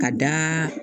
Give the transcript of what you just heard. Ka da